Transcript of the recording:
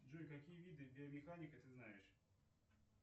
джой какие виды биомеханика ты знаешь